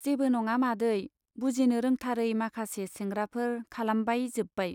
जेबो नङा मादै, बुजिनो रोंथारै माखासे सेंग्राफोर खालामबाय जोब्बाय।